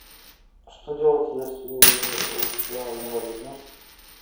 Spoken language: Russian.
что делать если у тебя инвалидность